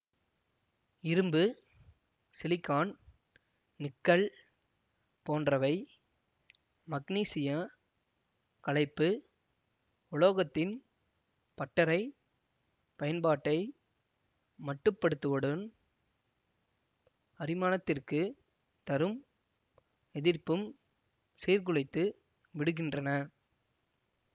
இரும்பு silicon nickel போன்றவை மக்னீசியக் கலைப்பு உலோகத்தின் பட்டறை பயன்பாட்டை மட்டுப்படுத்துவுடன் அரிமானத்திற்குத் தரும் எதிர்ப்பும் சீர்குலைத்து விடுகின்றன